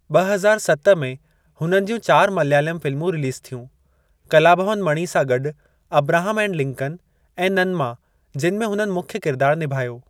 ॿ हज़ार सत में हुननि ज्यूं चार मल्यालम फिल्मूं रिलीज़ थियूं, कलाभवन मणि सां गॾु अब्राहम एंड लिंकन ऐं नन्मा जिनि में हुननि मुख्य किरदार निभायो।